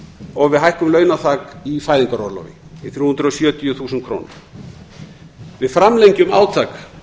og við hækkun launaþak í fæðingarorlofi í þrjú hundruð sjötíu þúsund krónur við framlengjum átak